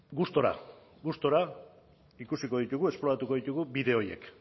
gustura gustura ikusiko ditugu esploratuko ditugu bide horiek